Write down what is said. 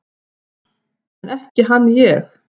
En ekki hann ég!